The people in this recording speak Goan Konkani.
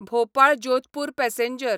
भोपाळ जोधपूर पॅसेंजर